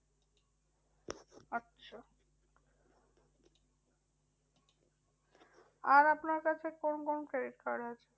আর আপনার কাছে কোন কোন credit card আছে?